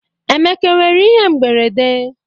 Emeka nwere ihe mberede?